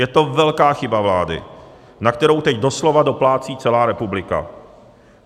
Je to velká chyba vlády, na kterou teď doslova doplácí celá republika.